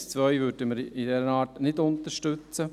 Den Punkt 2 würden wir in dieser Art nicht unterstützen.